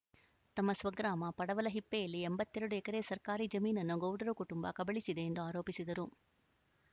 ತಮ್ಮ ಸ್ವಗ್ರಾಮ ಪಡವಲಹಿಪ್ಪೆಯಲ್ಲಿ ಎಂಬತ್ತ್ ಎರಡು ಎಕರೆ ಸರ್ಕಾರಿ ಜಮೀನನ್ನು ಗೌಡರ ಕುಟುಂಬ ಕಬಳಿಸಿದೆ ಎಂದು ಆರೋಪಿಸಿದರು